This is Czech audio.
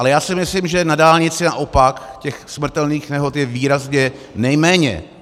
Ale já si myslím, že na dálnici naopak těch smrtelných nehod je výrazně nejméně.